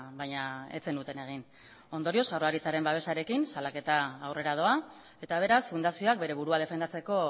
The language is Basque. baina ez zenuten egin ondorioz jaurlaritzaren babesarekin salaketa aurrera doa eta beraz fundazioak bere burua defendatzeko